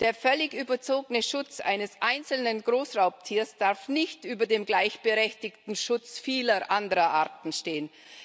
Der völlig überzogene Schutz eines einzelnen Großraubtiers darf nicht über dem gleichberechtigten Schutz vieler anderer Arten stehen.